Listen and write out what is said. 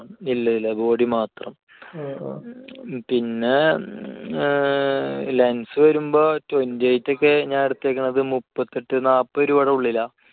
ഇല്ല ഇല്ല. body മാത്രം. പിന്നെ ഏർ lens വരുമ്പോൾ twenty eight ഒക്കെ ആണ്. ഞാൻ എടുത്തിരിക്കുന്നത് ഒരു മുപ്പത്തെട്ട് നാൽപ്പത് രൂപയുടെ ഉള്ളിലാണ്.